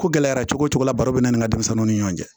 Ko gɛlɛyara cogo cogo la baro be na ni denmisɛnninw ni ɲɔgɔn cɛ